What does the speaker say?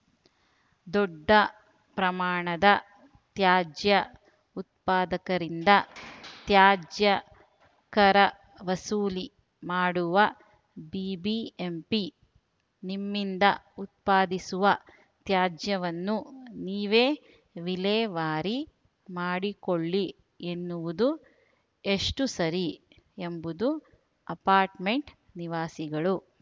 ದೊಡ್ಡ ಪ್ರಮಾಣದ ತ್ಯಾಜ್ಯ ಉತ್ಪಾದಕರಿಂದ ತ್ಯಾಜ್ಯ ಕರ ವಸೂಲಿ ಮಾಡುವ ಬಿಬಿಎಂಪಿ ನಿಮ್ಮಿಂದ ಉತ್ಪಾದಿಸುವ ತ್ಯಾಜ್ಯವನ್ನು ನೀವೇ ವಿಲೇವಾರಿ ಮಾಡಿಕೊಳ್ಳಿ ಎನ್ನುವುದು ಎಷ್ಟುಸರಿ ಎಂಬುದು ಅಪಾರ್ಟ್‌ಮೆಂಟ್‌ ನಿವಾಸಿಗಳು